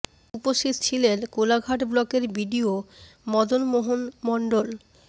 উপস্থিত ছিলেন কোলাঘাট ব্লকের B D O Madanmohan Mondal